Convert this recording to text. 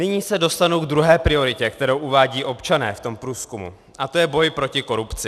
Nyní se dostanu k druhé prioritě, kterou uvádějí občané v tom průzkumu, a to je boj proti korupci.